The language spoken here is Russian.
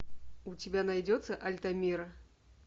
у тебя найдется альтамира